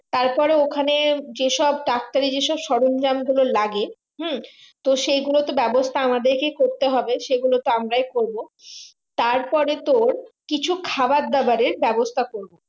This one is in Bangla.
তারপরে ওখানে যে সব ডাক্তারি যেসব সরন্জাম গুলো লাগে হম তো সেই গুলো তো ব্যাবস্তা আমাদেরকে করতে হবে সেগুলো তো আমরাই করবো তারপরে তোর কিছু খাবার দাবারের ব্যাবস্তা করবো